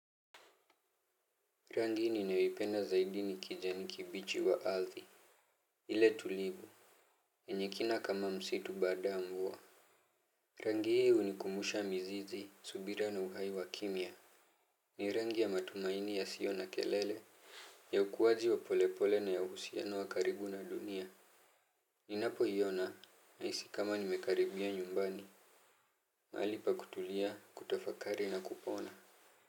Rangi ninayoipenda zaidi ni kijani kibichi wa ardhi. Ile tulivu yenye kina kama msitu baada ya mvua. Rangi hii unikumbusha mizizi, subira na uhai wa kimya. Ni rangi ya matumaini yasio na kelele ya ukuwaji wa polepole na ya uhusiano wa karibu na dunia. Ninapo hiona nahisi kama nimekaribia nyumbani. Mahali pa kutulia, kutafakari na kupona.